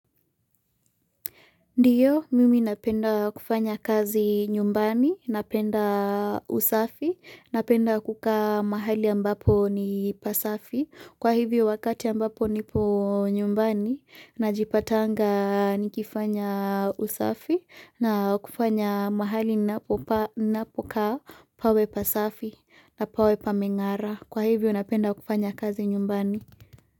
Ndiyo, mimi napenda kufanya kazi nyumbani, napenda usafi, napenda kuka mahali ambapo ni pasafi, kwa hivyo wakati ambapo nipo nyumbani, najipatanga nikifanya usafi, na kufanya mahali napoka pawe pasafi, na pawe pamengara, kwa hivyo napenda kufanya kazi nyumbani.